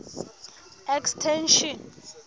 extension